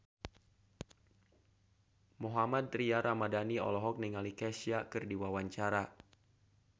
Mohammad Tria Ramadhani olohok ningali Kesha keur diwawancara